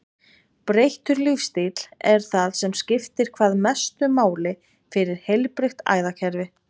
Breyttur lífsstíll er það sem skiptir hvað mestu máli fyrir heilbrigt æðakerfi.